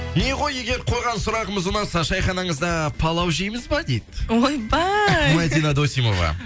не ғой егер қойған сұрағымыз ұнаса шайханаңызда палау жейміз бе дейді ойбай мадина досимова